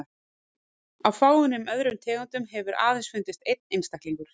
Af fáeinum öðrum tegundum hefur aðeins fundist einn einstaklingur.